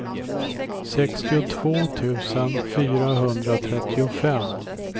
sextiotvå tusen fyrahundratrettiofem